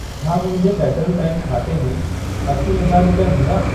छा मुंहिंजे Federal Bank खाते में असी हज़ार रुपिया हूंदा?